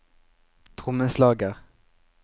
trommeslager